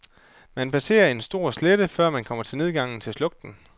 Man passerer en stor slette, før man kommer til nedgangen til slugten.